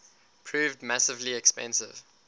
proved massively expensive